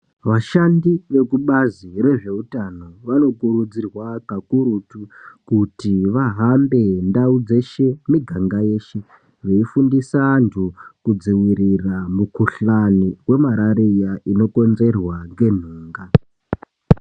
Vashandi vekubazi rezveutano vanokurudzirwa kakurutu kuti vahambe ndau dzeshe nemuganga yeshe veifundisa antu kudzivirira mukuhlani yemarariya inokonzerwa ngenhunga.